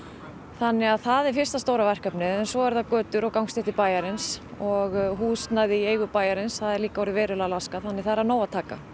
þannig að það er fyrsta stóra verkefnið en svo eru það götur og gangstéttir bæjarins og húsnæði í eigu bæjarins það er líka orðið verulega laskað þannig að það er af nógu að taka